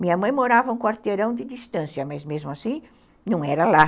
Minha mãe morava um quarteirão de distância, mas, mesmo assim, não era lá.